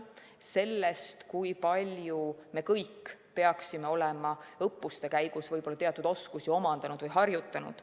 sellest, kui palju me kõik peaksime olema õppuste käigus teatud oskusi omandanud või harjutanud.